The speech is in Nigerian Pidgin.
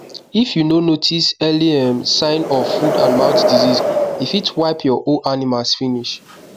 if you no notice early um sign of footandmouth disease e fit wipe your whole animals finish